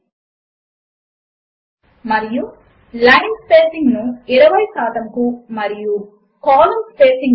మరియు line spacing ను 20 శాతమునకు మరియు కాలమ్ స్పేసింగ్ ను 50 శాతమునకు మార్చండి మరియు ఒక్ పైన క్లిక్ చేయండి